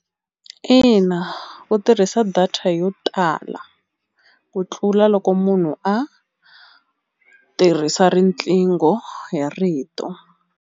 Ina ku tirhisa data yo tala u tlula loko munhu a tirhisa riqingho hi rito.